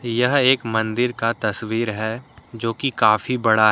यह एक मंदिर का तस्वीर है जो कि काफी बड़ा--